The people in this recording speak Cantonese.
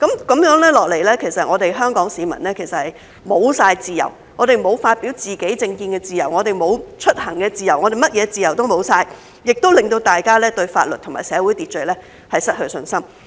這樣下去，香港市民便完全沒有自由，沒有發表自己政見的自由，沒有出行的自由，甚麼自由都沒有了，也令到大家對法律和社會秩序失去信心。